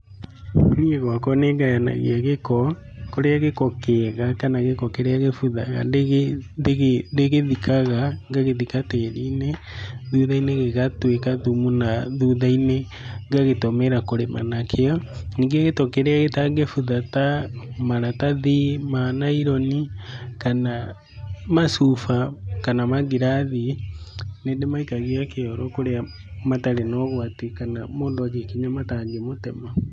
Niĩ gwakwa nĩ ngayanagia gĩko, kũrĩa gĩko kĩega kana gĩko kĩrĩa gĩbuthaga ndĩgĩthikaga, ngagĩthika tĩri-inĩ, thutha-inĩ gĩgatuĩka thumu na thutha-inĩ ngagĩtũmĩra kũrĩma nakĩo, ningĩ gĩko kĩrĩa gĩtangĩbutha ta maratathi ma naironi, kana macuba, kana mangirathi, nĩ ndĩmaikagia kĩoro kũrĩa matarĩ na ũgwati kana mũndũ angĩkinya matangĩmũtema.